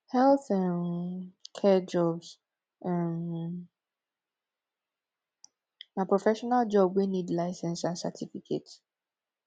health um care jobs um na professional job wey need license and cerificate